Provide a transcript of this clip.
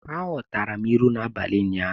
Aghọtara m ilu n'abalị ụnyaahụ.